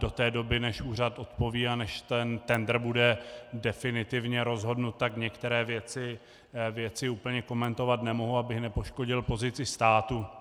Do té doby, než úřad odpoví a než ten tendr bude definitivně rozhodnut, tak některé věci úplně komentovat nemohu, abych nepoškodil pozici státu.